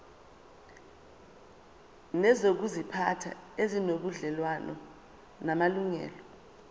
nezokuziphatha ezinobudlelwano namalungelo